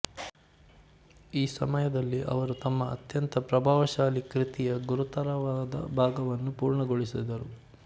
ಈ ಸಮಯದಲ್ಲಿ ಅವರು ತಮ್ಮ ಅತ್ಯಂತ ಪ್ರಭಾವಶಾಲಿ ಕೃತಿಯ ಗುರುತರವಾದ ಭಾಗವನ್ನು ಪೂರ್ಣಗೊಳಿಸಿದರು